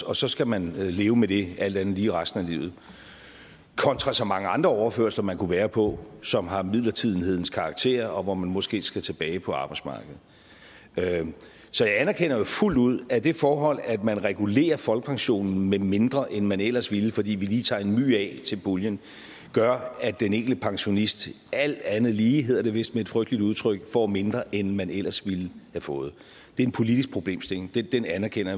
og så skal man leve med det alt andet lige resten af livet kontra så mange andre overførsler man kunne være på som har midlertidighedens karakter og hvor man måske skal tilbage på arbejdsmarkedet så jeg anerkender jo fuldt ud at det forhold at man regulerer folkepensionen med mindre end man ellers ville fordi vi lige tager en my af til puljen gør at den enkelte pensionist alt andet lige hedder det vist med et frygteligt udtryk får mindre end man ellers ville have fået det en politisk problemstilling den anerkender